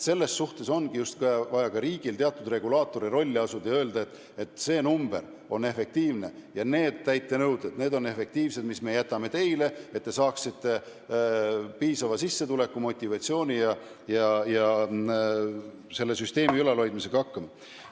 Selles suhtes ongi vaja riigil teatud regulaatori rolli asuda ja öelda, et see number on efektiivne ja need täitenõuded on efektiivsed, mis me teile jätame, et te saaksite piisava sissetuleku ja motivatsiooni ning saaksite selle süsteemi ülalpidamisega hakkama.